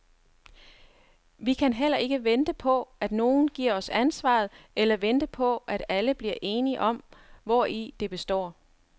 Vi kan heller ikke vente på, at nogen giver os ansvaret, eller vente på at alle bliver enige om, hvori det består.